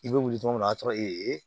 I bɛ wuli tuma min na o y'a sɔrɔ e ye